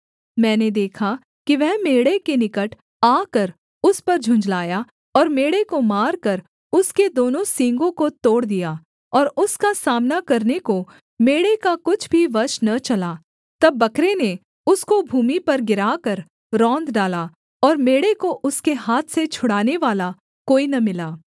मैंने देखा कि वह मेढ़े के निकट आकर उस पर झुँझलाया और मेढ़े को मारकर उसके दोनों सींगों को तोड़ दिया और उसका सामना करने को मेढ़े का कुछ भी वश न चला तब बकरे ने उसको भूमि पर गिराकर रौंद डाला और मेढ़े को उसके हाथ से छुड़ानेवाला कोई न मिला